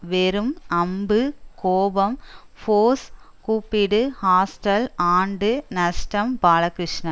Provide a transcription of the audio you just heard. வெறும் அம்பு கோபம் ஃபோர்ஸ் கூப்பிடு ஹாஸ்டல் ஆண்டு நஷ்டம் பாலகிருஷ்ணன்